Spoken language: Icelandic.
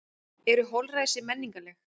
Eru holræsi menningarleg?